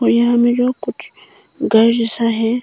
यहां में जो कुछ घर जैसा है।